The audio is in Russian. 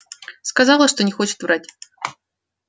сказала что не хочет врать